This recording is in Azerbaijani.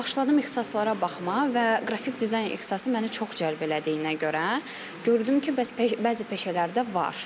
Başladım ixtisaslara baxmağa və qrafik dizayn ixtisası məni çox cəlb elədiyinə görə gördüm ki, bəzi peşələrdə var.